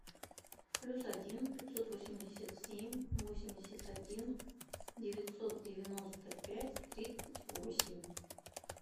плюс один пятьсот восемьдесят семь восемьдесят один девятьсот девяносто пять тридцать восемь